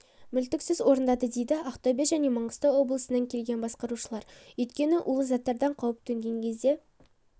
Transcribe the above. мүлтіксіз орындады дейді ақтөбе және маңғыстау облысынан келген бақылаушылар өйткені улы заттардан қауіп төнген кезде